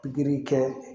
Pikiri kɛ